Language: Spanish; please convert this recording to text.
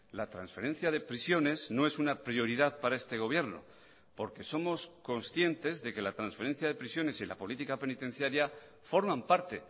la transferencia de prisiones no es una prioridad para este gobierno porque somos conscientes de que la transferencia de prisiones y la política penitenciaria forman parte